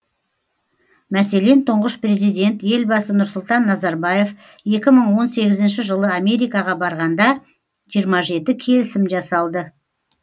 мәселен тұңғыш президент елбасы нұрсұлтан назарбаев екі мың он сегізінші жылы америкаға барғанда жиырма жеті келісім жасалды